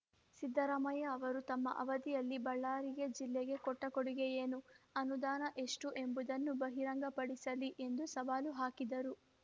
ಸಿದ್ದರಾಮಯ್ಯ ಅವರು ತಮ್ಮ ಅವಧಿಯಲ್ಲಿ ಬಳ್ಳಾರಿಗೆ ಜಿಲ್ಲೆಗೆ ಕೊಟ್ಟಕೊಡುಗೆ ಏನು ಅನುದಾನ ಎಷ್ಟುಎಂಬುದನ್ನು ಬಹಿರಂಗಪಡಿಸಲಿ ಎಂದು ಸವಾಲು ಹಾಕಿದರು